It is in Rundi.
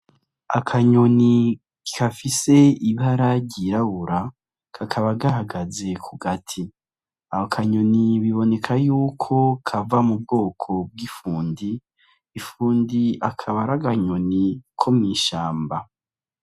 Akanyoni kafise ibara ryirabura kakaba gahagaze ku gati ako kanyoni biboneka yuko kava mu bwoko bw'ifundi ifundi akaba ar’akanyoni ko mwishamba.